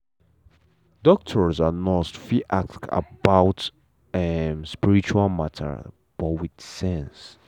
doctor and nurse fit ask fit ask about um spiritual matter but with sense.